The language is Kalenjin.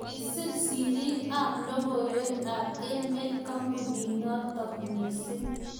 kisir siriik ab lokoywek ab emet kampunit notok missing